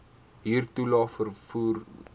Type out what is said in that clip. huurtoelae vervoer toelae